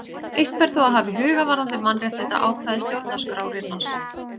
Eitt ber þó að hafa í huga varðandi mannréttindaákvæði stjórnarskrárinnar.